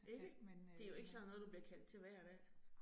Ikke? Det jo ikke sådan noget, du bliver kaldt til hver dag